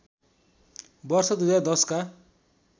वर्ष २०१० का